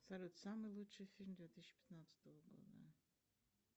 салют самый лучший фильм две тысячи пятнадцатого года